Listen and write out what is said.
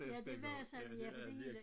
Ja det var sådan ja for det hele